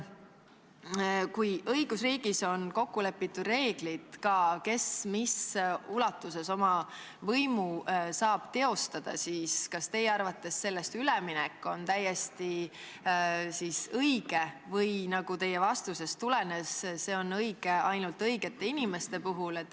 Kui õigusriigis on kokku lepitud ka reeglid, kes mis ulatuses oma võimu saab teostada, siis kas teie arvates nendest piiridest üleminek on täiesti õige või on see õige, nagu teie vastusest tulenes, ainult õigete inimeste puhul?